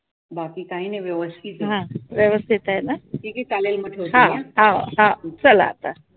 बाकी काही नाही, व्यवस्तीत आहे. ठीके चालेल मी ठेवते